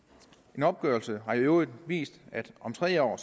en opgørelse har i øvrigt vist at det om tre år